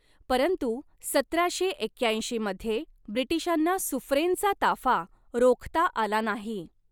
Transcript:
परंतु सतराशे एक्याऐंशी मध्ये ब्रिटिशांना सुफ्रेनचा ताफा रोखता आला नाही.